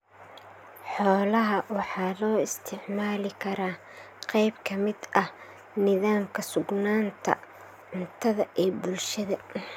Xoolaha waxa loo isticmaali karaa qayb ka mid ah nidaamka sugnaanta cuntada ee bulshada.